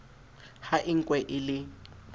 ha e nkwe e le